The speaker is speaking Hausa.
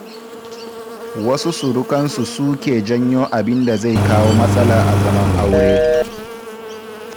Wasu surukan su suke janyo abinda zai kawo matsala a zaman a aure.